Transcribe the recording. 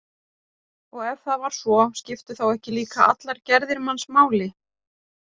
Og ef það var svo, skiptu þá ekki líka allar gerðir manns máli?